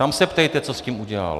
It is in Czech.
Tam se ptejte, co s tím udělal.